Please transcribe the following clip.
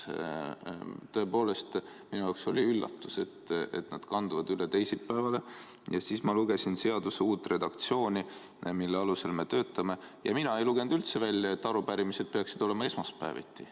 Tõepoolest, minu jaoks oli üllatus, et nad kanduvad üle teisipäevale, ja siis ma lugesin seaduse uut redaktsiooni, mille alusel me töötame, ja mina ei lugenud üldse välja, et arupärimised peaksid olema esmaspäeviti.